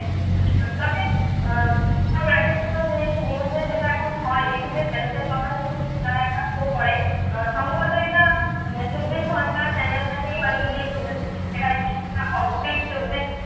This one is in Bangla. তবে আহ এক এক সময় news এ যেটা এখন হয় দেখি যে তারা একটা show করে আহ সম্ভবত এটা আহ চব্বিশ ঘন্টার channel টাতেই হয়তো জি চব্বিশ ঘন্টা চব্বিশ